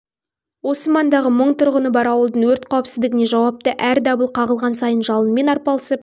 осы маңдағы мың тұрғыны бар ауылдың өрт қауіпсіздігіне жауапты әр дабыл қағылған сайын жалынмен арапалысып